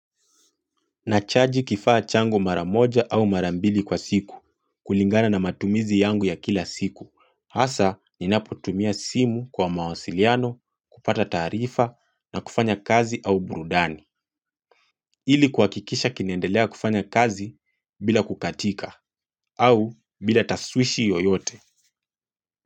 Nachaji kifaa changu mara moja au mara mbili kwa siku kulingana na matumizi yangu ya kila siku. Hasa ninapotumia simu kwa mawasiliano, kupata taarifa na kufanya kazi au burudani. Ili kuhakikisha kinaendelea kufanya kazi bila kukatika au bila taswishi yoyote.